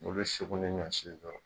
O bɛ sokolo ɲɔn si kan.